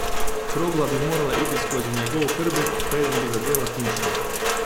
Krogla bi morala iti skozi njegov hrbet, preden bi zadela punčki.